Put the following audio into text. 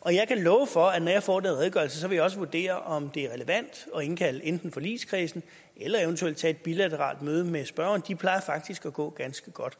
og jeg kan love for at når jeg får redegørelsen vil jeg også vurdere om det er relevant at indkalde enten forligskredsen eller eventuelt tage et bilateralt møde med spørgeren de plejer faktisk at gå ganske godt